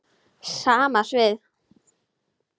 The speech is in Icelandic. Sama svið.